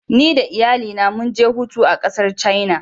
Ni da iyalai na mu ge hutu a kasar china.